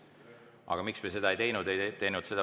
Aga miks me seda ei teinud?